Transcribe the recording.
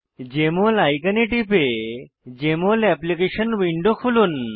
JML আইকনে টিপে Jmol application window খুলুন